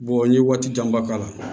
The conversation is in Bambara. n ye waati janba k'a la